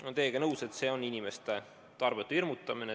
Olen teiega nõus, et see on inimeste tarbetu hirmutamine.